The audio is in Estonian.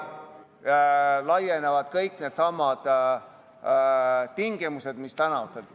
Sellele laienevad kõik needsamad tingimused, mis tänavanimedele.